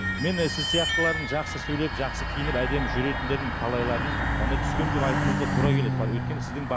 мені сіз сияқтыларының жақсы сөйлеп жақсы киініп әдемі жүретіндерінің талайларының қақпанына түскенмін деп айтуыңызға тура келеді өйткені сіздің